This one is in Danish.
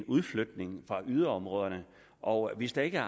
udflytning fra yderområderne og hvis der ikke